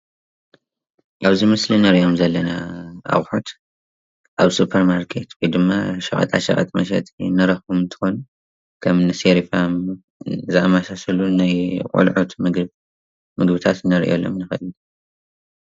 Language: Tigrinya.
እዚ ምስሊ ዝተፈላለዩ ዕሹጋት ምግቢ ንህፃውንቲ ዝኾኑ ዝሽየጥሉ እዩ።